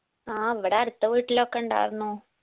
ആ ഇവ്ടെ അടുത്ത വീട്ടിലൊക്കെ ഇണ്ടാർന്നു